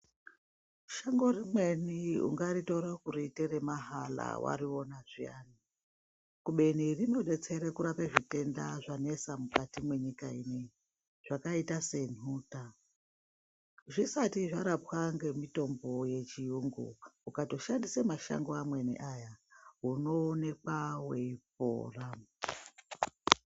Shango rimweni ungaritora kuriita remahala wariona zviyani, kubeni rinodetsera kurape zvitenda zvanesa mukati mwenyika ineyi zvakaita senhuta. Zvisati zvarapwa ngemitombo yechiyungu, ukato shandisa mashango amweni aya unoonekwa weipora.